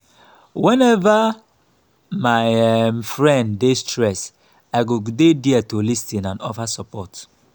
whenever my um friend dey stressed i go dey there to lis ten and offer support.